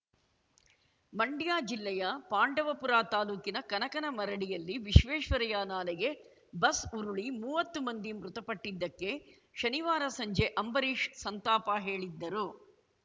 ಮಂಡ್ಯ ಜಿಲ್ಲೆಯ ಪಾಂಡವಪುರ ತಾಲೂಕಿನ ಕನಕಗನ ಮರಡಿಯಲ್ಲಿ ವಿಶ್ವೇಶ್ವರಯ್ಯ ನಾಲೆಗೆ ಬಸ್‌ ಉರುಳಿ ಮುವತ್ತು ಮಂದಿ ಮೃತಪಟ್ಟಿದ್ದಕ್ಕೆ ಶನಿವಾರ ಸಂಜೆ ಅಂಬರೀಷ್‌ ಸಂತಾಪ ಹೇಳಿದ್ದರು